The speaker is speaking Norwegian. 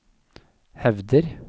hevder